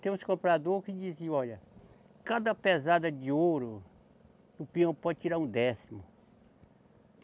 Tem uns comprador que diziam, olha, cada pesada de ouro, o peão pode tirar um décimo.